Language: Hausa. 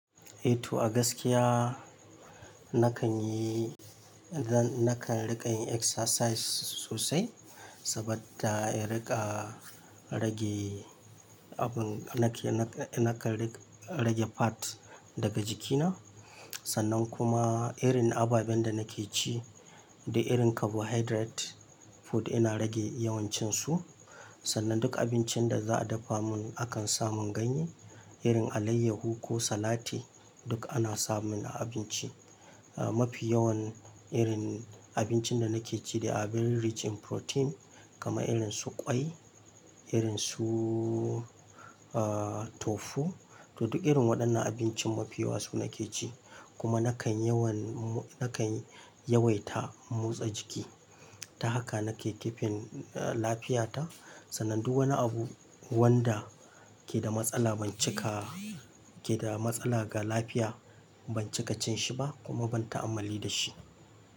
Eh to a gaskiya nakan yi, zan, nakan riƙa yin exercise sosai saboda in riƙa rage abun nake, na, nakan rage fat daga jikina. Sannan kuma irin ababen da nake ci da irin carbohydrate food ina rage yawancinsu. Sannan duk abincin da za a dafa mun akan samun ganye irin alayyahu ko salati duk ana samun abinci. Ah mafi yawan irin abincin da nake ci dai abin rich in protein kamar irin su ƙwai, irin su ah tofu to duk irin waɗannan abincin mafi yawa su nake ci. Kuma nakan yawan mu, nakan yawaita motsa jiki. Ta haka nake keeping a lafiyata. Sannan duk wani abu wanda ke da matsala ban cika, ke da matsala ga lafiya ban cika cin shi ba kuma ban ta'ammali da shi.